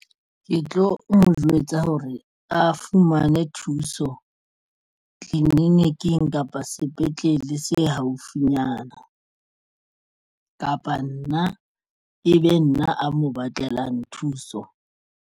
Ke tlo mo jwetsa hore a fumane thuso tleliniking kapa sepetlele se haufinyana kapa nna e be nna a mo batlelang thuso.